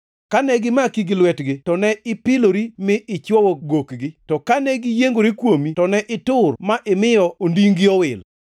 Kane gimaki gi lwetgi to ne ipilori mi ichwo gokgi; to kane giyiengore kuomi to ne itur ma imiyo odingʼ-gi owil.